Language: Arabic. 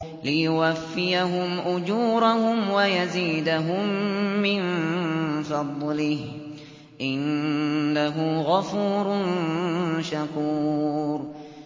لِيُوَفِّيَهُمْ أُجُورَهُمْ وَيَزِيدَهُم مِّن فَضْلِهِ ۚ إِنَّهُ غَفُورٌ شَكُورٌ